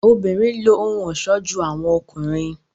obìnrin ló ohùn ọṣọ jù awọn ọkùnrin